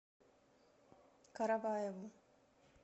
караваеву